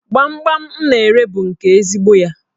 Gbamgbam m na-ere bụ nke ezigbo ya.